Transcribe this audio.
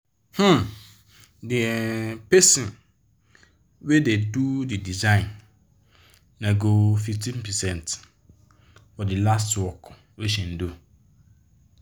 um d um person wey da do d design nego 15 percent for the last work wey she do